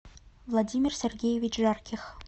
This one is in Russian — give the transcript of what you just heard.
владимир сергеевич жарких